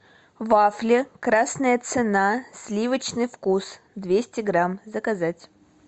вафли красная цена сливочный вкус двести грамм заказать